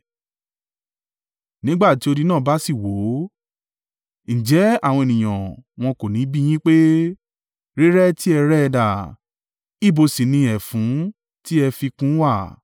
Nígbà tí odi náà bá sì wó, ǹjẹ́ àwọn ènìyàn wọn kò níbi yín pé, “Rírẹ́ tí ẹ rẹ́ ẹ dà, ibo sì ni ẹfun tí ẹ fi kùn ún wà?”